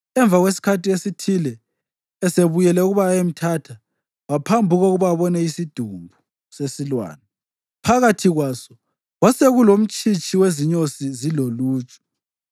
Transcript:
Emva kwesikhathi esithile, esebuyele ukuba ayemthatha, waphambuka ukuba abone isidumbu sesilwane. Phakathi kwaso kwasekulomtshitshi wezinyosi ziloluju,